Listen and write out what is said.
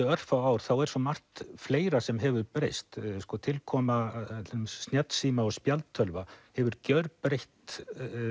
örfáu ár þá er svo margt fleira sem hefur breyst tilkoma snjallsíma og spjaldtölva hefur gjörbreytt